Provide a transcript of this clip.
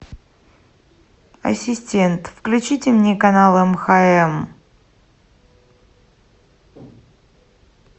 ассистент включите мне канал мхм